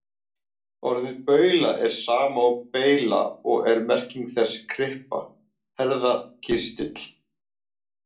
Orðið baula er sama og beyla og er merking þess kryppa, herðakistill.